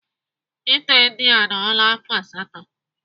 Ite ndị a anọla afọ asatọ.